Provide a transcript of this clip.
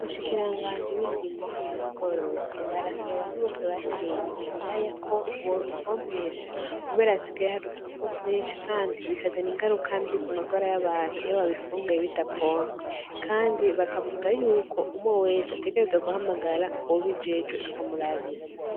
Nshikiranganje b'indimo hamwe n'ubworozi arasaba abantu bose bateye ibiraya ko wobipompesha kubearasigaye harudukako twenshi, kandi bikazana ingarukambi ku magora y'abantu iyo babifunguye bidapompe, kandi bakavuga yuko umwe wese ategereza guhamagara uwubeijejwe akamurabira.